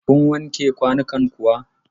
Kun wanke kwanukan kuwa?